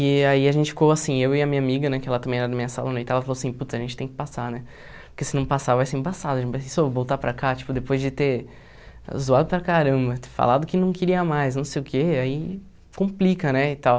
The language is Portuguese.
E aí a gente ficou assim, eu e a minha amiga, né, que ela também era da minha sala né, que ela falou assim, puts, a gente tem que passar, né, porque se não passar, vai ser embaçado, já pensou voltar para cá, tipo, depois de ter zoado para caramba, falado que não queria mais, não sei o que, aí complica, né, e tal.